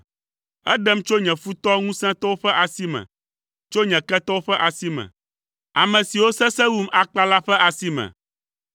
Eɖem tso nye futɔ ŋusẽtɔwo ƒe asi me, tso nye ketɔwo ƒe asi me, ame siwo sesẽ wum akpa la ƒe asi me.